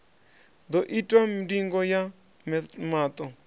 ḓo itwa ndingo ya maṱo